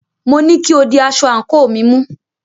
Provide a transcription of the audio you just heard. Mo ní kí o di aṣọ àńkò mi mú!